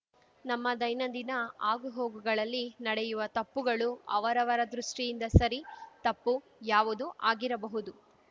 ನಮ್ಮ ದೈನಂದಿನ ಆಗುಹೋಗುಗಳಲ್ಲಿ ನಡೆಯುವ ತಪ್ಪುಗಳು ಅವರವರ ದೃಷ್ಟಿಯಿಂದ ಸರಿ ತಪ್ಪು ಯಾವುದೂ ಆಗಿರಬಹುದು